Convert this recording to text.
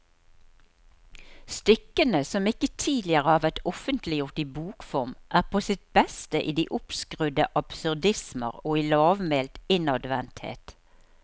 Stykkene, som ikke tidligere har vært offentliggjort i bokform, er på sitt beste i de oppskrudde absurdismer og i lavmælt innadvendthet.